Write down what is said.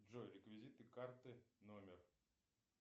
джой реквизиты карты номер